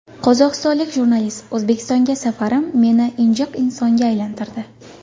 Qozog‘istonlik jurnalist: O‘zbekistonga safarim meni injiq insonga aylantirdi.